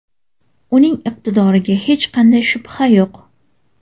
Uning iqtidoriga hech qanday shubha yo‘q.